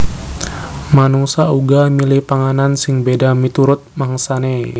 Manungsa uga milih panganan sing béda miturut mangsané